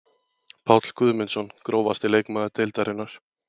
Páll Guðmundsson Grófasti leikmaður deildarinnar?